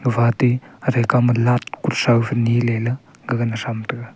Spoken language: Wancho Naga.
fati athe kawma lat kuthrau feniley ley gaga na thram taiga.